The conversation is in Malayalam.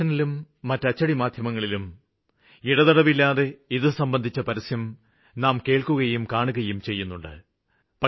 ദൂരദര്ശനിലും മറ്റ് അച്ചടി മാധ്യമങ്ങളിലും ഇടതടവില്ലാതെ നാം ഇത് സംബന്ധിച്ച പരസ്യം കാണുകയും കേള്ക്കുകയും ചെയ്യുന്നുണ്ട്